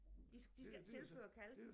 I de skal ikke tilføre kalk